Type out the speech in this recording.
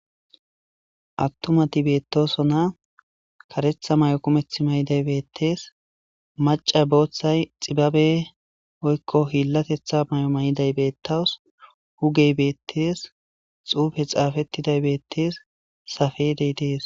attumati beettosona karetha may7o kumeth may7iday beettees maca booththay xibabe oykko hiillatetha may7o may7iday beettaws hugey beettees xuufe xaafettiday beettees safedey dees